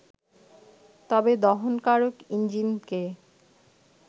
তবে দহনকারক ইঞ্জিনকে